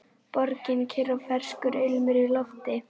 Borgin kyrr og ferskur ilmur í lofti.